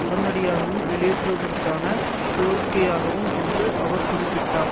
உடனடியாகவும் வெளியேறுவதற்கான கோரிக்கையாகும் என்று அவர் குறிப்பிட்டார்